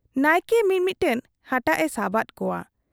ᱱᱟᱭᱠᱮ ᱢᱤ ᱢᱤᱫᱴᱟᱹᱝ ᱦᱟᱴᱟᱜ ᱮ ᱥᱟᱵᱟᱫ ᱠᱚᱣᱟ ᱾